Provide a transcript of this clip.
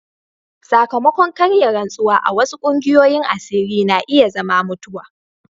Sakamakon karya rantsuwa a wasu kungiyoyin asiri na iya zama mutuwa.